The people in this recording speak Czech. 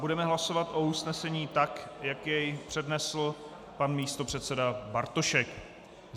Budeme hlasovat o usnesení, tak jak je přednesl pan místopředseda Bartošek.